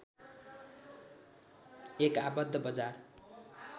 एक आबद्ध बजार